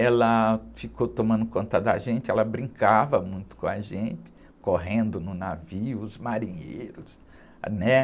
Ela ficou tomando conta da gente, ela brincava muito com a gente, correndo no navio, os marinheiros, né?